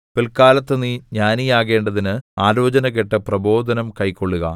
പില്‍ക്കാലത്ത് നീ ജ്ഞാനിയാകേണ്ടതിന് ആലോചന കേട്ട് പ്രബോധനം കൈക്കൊള്ളുക